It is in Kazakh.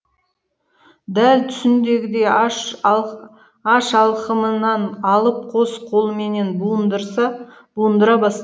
дәл түсіндегідей аш алқымынан алып қос қолыменен буындыра